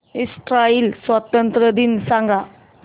Israel स्वातंत्र्य दिन सांग